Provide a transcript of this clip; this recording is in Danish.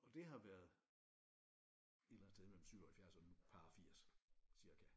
Og det har været et eller andet sted mellem 77 og nu par og 80 cirka